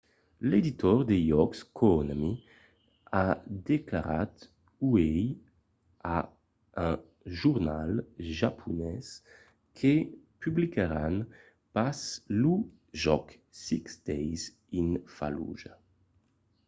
l’editor de jòcs konami a declarat uèi a un jornal japonés que publicaràn pas lo jòc six days in fallujah